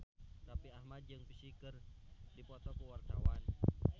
Raffi Ahmad jeung Psy keur dipoto ku wartawan